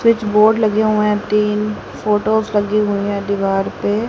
switch board लगे हुए हैं तीन फोटोस लगी हुई है दीवार पे--